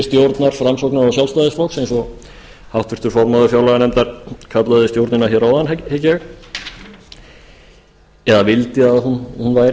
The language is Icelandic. stjórnar framsóknar og sjálfstæðisflokks eins og háttvirtur formaður fjárlaganefndar kallaði stjórnina hér áðan hygg ég eða vildi að hún væri